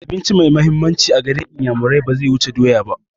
Abinci mai mahimmanci a garin inyamurai baze wuce doya ba